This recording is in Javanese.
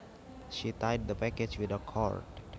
She tied the package with a cord